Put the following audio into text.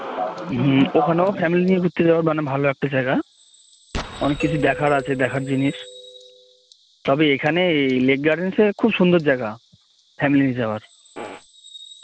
হম ওখানেও family নিয়ে ঘুরতে যাবার খুব ভালো একটা জায়গা অনেক কিছু দেখার আছে দেখার জিনিস তবে এখানে এই লেক গার্ডেনস খুব সুন্দর জায়গা family নিয়ে যাবার